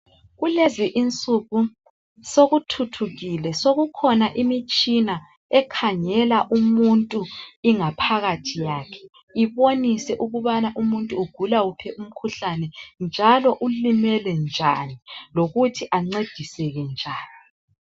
Kulezi insuku sokuthuthukile, sokukhona imitshina ekhangela umuntu ingaphakathi yakhe ibonise ukuba umuntu ugula uphi umkhuhlane njalo ulimele njani lokuthi ancediseke njani.